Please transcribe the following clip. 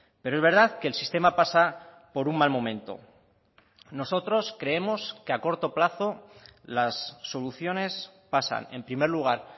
pero es verdad que el sistema pasa por un mal momento nosotros creemos que a corto plazo las soluciones pasan en primer lugar